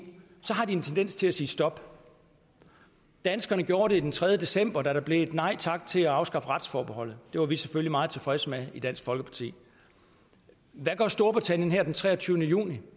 har de en tendens til at sige stop danskerne gjorde det den tredje december da der blev et nej tak til at afskaffe retsforbeholdet det var vi selvfølgelig meget tilfredse med i dansk folkeparti hvad gør storbritannien her den treogtyvende juni